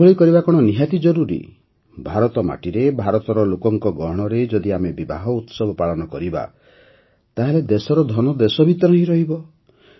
ଏଭଳି କରିବା କଣ ନିହାତି ଜରୁରୀ ଭାରତ ମାଟିରେ ଭାରତର ଲୋକଙ୍କ ଗହଣରେ ଯଦି ଆମେ ବିବାହ ଉତ୍ସବ ପାଳନ କରିବା ତାହେଲେ ଦେଶର ଧନ ଦେଶ ଭିତରେ ହିଁ ରହିବ